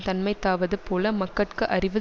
தன்மைத்தாவது போல மக்கட்கு அறிவு